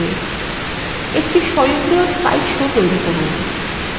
একটি স্বয়ংক্রিয় slide show তৈরি করুন